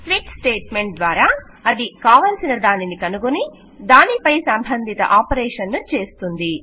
switch statement ద్వారా అది కావలసిన దానిని కనుగొని దానిపై సంబంధిత ఆపరేషన్ ను చేస్తుంది